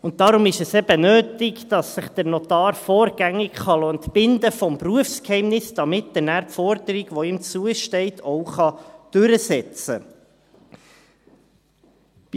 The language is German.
Deshalb ist es eben notwendig, dass sich der Notar vorgängig vom Berufsgeheimnis entbinden lassen kann, damit er nachher die Forderung, die ihm zusteht, auch durchsetzen kann.